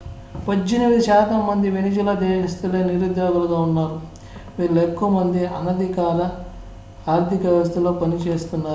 18 శాతం మంది వెనిజులా దేశస్తులే నిరుద్యోగులుగా ఉన్నారు వీరిలో ఎక్కువ మంది అనధికారిక ఆర్థిక వ్యవస్థలో పనిచేస్తున్నారు